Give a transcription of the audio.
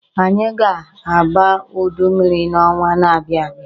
Anyị ga-aba udu mmiri n'ọnwa na-abia abịa.